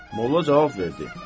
Molla cavab verdi: